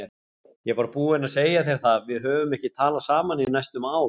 Ég var búinn að segja þér það, við höfum ekki talað saman í næstum ár.